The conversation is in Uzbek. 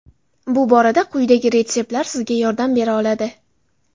Bu borada quyidagi retseptlar sizga yordam bera oladi.